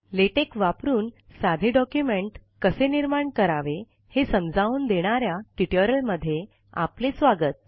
LaTeX वापरून साधे document कसे निर्माण करावे हे समजावून देणाऱ्या ट्युटोरियलमध्ये आपले स्वागत